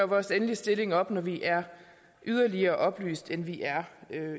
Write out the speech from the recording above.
vores endelige stilling op når vi er mere oplyste end vi er